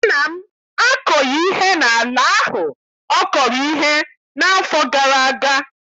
Nna m akọghị ihe n'ala ahụ ọ kọrọ ihe n'afọ gara aga.